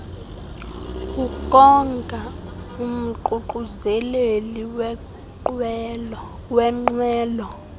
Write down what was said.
ukonga umququzeleli wenqwelo